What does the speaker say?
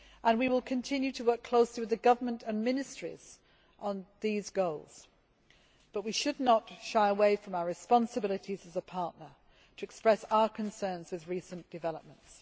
We will continue to work closely with the government and ministries on these goals but we should not shy away from our responsibilities as a partner to express our concerns with recent developments.